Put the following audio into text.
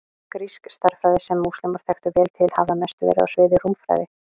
Grísk stærðfræði, sem múslímar þekktu vel til, hafði að mestu verið á sviði rúmfræði.